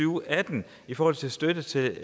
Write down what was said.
og atten i forhold til støtte til